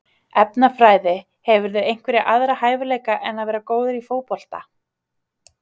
Efnafræði Hefurðu einhverja aðra hæfileika en að vera góður í fótbolta?